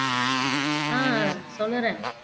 ஆஹ் சொல்லுறேன்